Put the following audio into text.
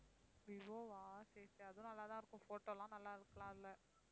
vivo வா சரி, சரி அதுவும் நல்லாதான் இருக்கும் photo எல்லாம் நல்லா எடுக்கலாம் அதுல